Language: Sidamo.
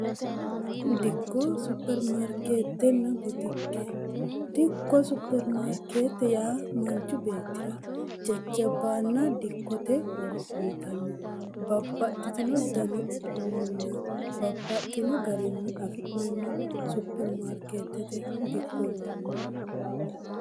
dikko supermarkeettenna botikke dikko supermaarkeette yaa manchu beettira cecabbaanna dikkote horo uyyitannu babbaxxitino dani uduunninya babbaxxino garinyi afi'nanni supermaarkeettete dikkonni